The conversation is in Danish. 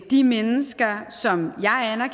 de mennesker som